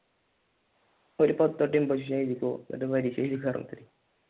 ഒരു പത്തുവട്ടം എബോസിഷൻ എഴുതിക്കോ എന്നിട്ട് പരീക്ഷ എഴുതിക്കാറുണ്ട്